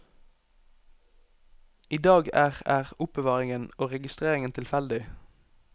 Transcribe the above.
I dag er er oppbevaringen og registreringen tilfeldig.